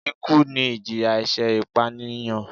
Ikú ni ìjìyà ẹ̀ṣẹ̀ ìpànìyàn